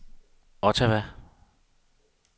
Ottawa